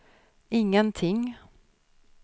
ingenting